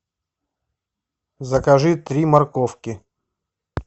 закажи три морковки